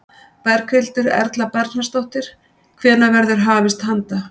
Berghildur Erla Bernharðsdóttir: Hvenær verður hafist handa?